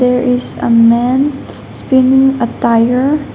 there is a man spinning a tire.